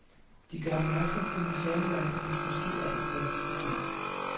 De gør opmærksom på museumsverdenens måske allerstørste problem.